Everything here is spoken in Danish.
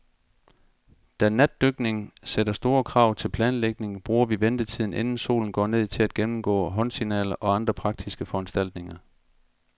Da natdykning sætter store krav til planlægning, bruger vi ventetiden, inden solen går ned, til at gennemgå håndsignaler og andre praktiske foranstaltninger.